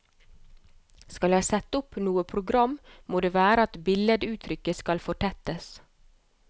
Skal jeg sette opp noe program, må det være at billeduttrykket skal fortettes.